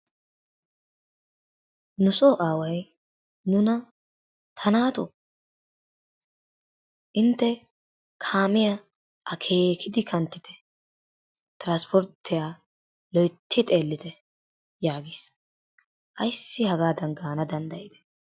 Nusso aaway nuna ta naatoo intte kaamiya akeekidi kanttite tiraspportiya loytti xeellite yaagiis. Ayssi hagaadan gaana danddayide?